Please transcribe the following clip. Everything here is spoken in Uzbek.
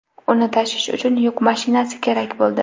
Uni tashish uchun yuk mashinasi kerak bo‘ldi.